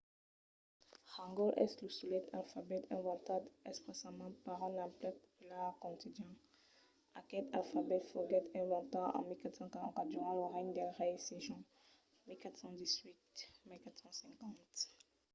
hangeul es lo solet alfabet inventat exprèssament per un emplec popular quotidian. aquel alfabet foguèt inventat en 1444 durant lo regne del rei sejong 1418 – 1450